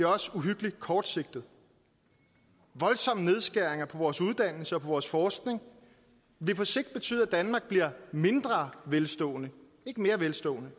også uhyggelig kortsigtet voldsomme nedskæringer på vores uddannelser og på vores forskning vil på sigt betyde at danmark bliver mindre velstående ikke mere velstående